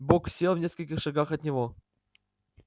бог сел в нескольких шагах от него